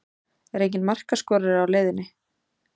Er enginn markaskorari á leiðinni?